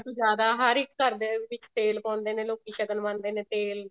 ਤੋਂ ਜਿਆਦਾ ਹਰ ਇੱਕ ਘਰ ਦੇ ਵਿੱਚ ਤੇਲ ਪਾਉਂਦੇ ਨੇ ਲੋਕੀ ਸ਼ਗਨ ਮੰਨਦੇ ਨੇ ਤੇਲ